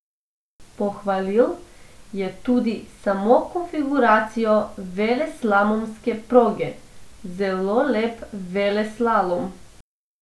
Pohvalil je tudi samo konfiguracijo veleslalomske proge: "Zelo lep veleslalom.